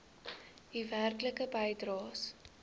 u werklike bydraes